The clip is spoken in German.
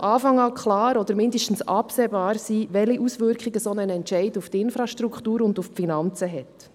Es sollte von Anfang an klar oder zumindest absehbar sein, welche Auswirkungen ein solcher Entscheid auf die Infrastruktur und auf die Finanzen hat.